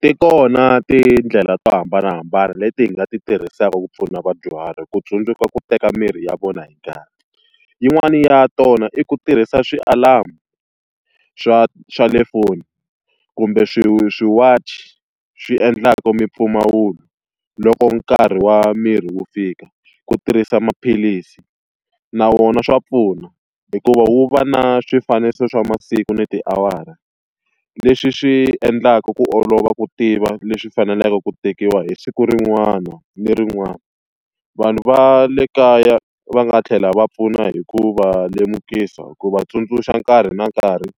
Ti kona tindlela to hambanahambana leti hi nga ti tirhisaka ku pfuna vadyuhari ku tsundzuka ku teka mirhi ya vona hi nkarhi. Yin'wani ya tona i ku tirhisa ti-alarm-u swa swa le foni kumbe ti-watch swi endlaku mimpfumawulo loko nkarhi wa mirhi wu fika. Ku tirhisa maphilisi, na swona swa pfuna, hikuva wu va na swifaniso swa masiku ni tiawara leswi swi endlaka ku olova ku tiva leswi faneleke ku tekiwa hi siku rin'wana ni rin'wana. Vanhu va le kaya va nga tlhela va pfuna hi ku va lemukisa hi ku va tsundzuxa nkarhi na nkarhi,